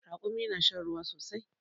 Ragumi na shan ruwa sosai